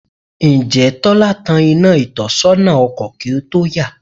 Ǹjẹ́ Tọ́lá tan iná ìtọ́sọ́nà ọkọ̀ kí ó tó yà?